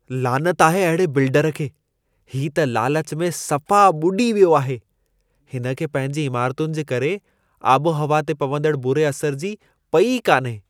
लानत आहे अहिड़े बिल्डर खे! ही त लालच में सफ़ा ॿुॾी वियो आहे। हिन खे पंहिंजी इमारतुनि जे करे आबोहवा ते पवंदड़ बुरे असर जी पई ई कान्हे।